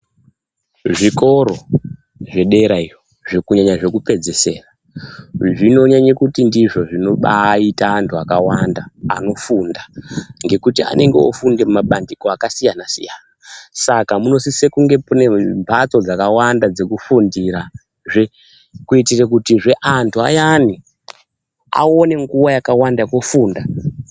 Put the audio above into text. Zvikora zvederaiyo, kunyanya zvekupedzisira zvinonyanya kuti ndizvo zvinobaita antu akawanda anofunda ngekuti anenge ofunde mabandiko akasiyana-siyana. Saka munosisa kunge mune mhatso dzakawanda dzekufundirazve, kuitirekuti zveantu ayani awone nguva yakawanda yekufunda.